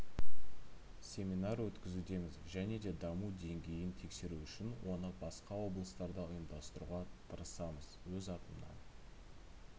семинар өткізудеміз және де даму деңгейін тексеру үшін оны басқа облыстарда ұйымдастыруға тырысамыз өз атымнан